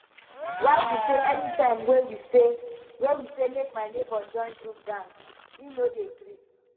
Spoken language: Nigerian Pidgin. why be say anytime wey we say wey we say make my nebor join group dance he no dey gree